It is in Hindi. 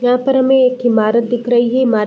यहाँ पर हमें एक ईमारत दिख रही है इमार --